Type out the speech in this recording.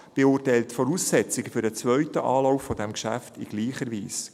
Die BaK beurteilt die Voraussetzung für den zweiten Anlauf dieses Geschäfts in gleicher Weise.